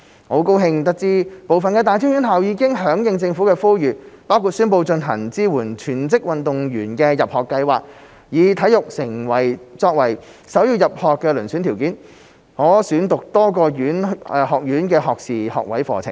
我很高興知悉部分大專院校已經響應政府呼籲，包括宣布推行支援全職運動員的入學計劃，以體育成就作為首要入學遴選條件，可選讀多個學院的學士學位課程。